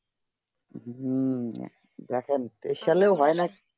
হম দেখেন এই সালে হয়ে না কি